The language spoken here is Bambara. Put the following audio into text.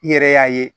I yɛrɛ y'a ye